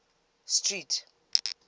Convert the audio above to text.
street